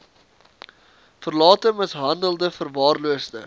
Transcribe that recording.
verlate mishandelde verwaarloosde